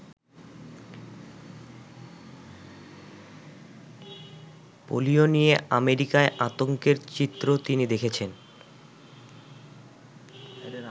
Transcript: Polio নিয়ে আমেরিকায় আতঙ্কের চিত্র তিনি দেখেছেন।